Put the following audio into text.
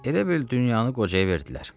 Elə bil dünyanı qocaya verdilər.